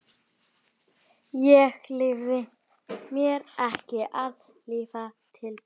Ég leyfi mér ekki að líta til baka.